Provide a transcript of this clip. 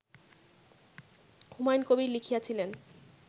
Humayun Kabir লিখিয়াছিলেন